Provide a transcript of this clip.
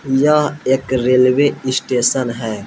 यह एक railway station है।